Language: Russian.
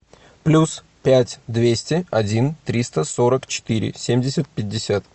плюс пять двести один триста сорок четыре семьдесят пятьдесят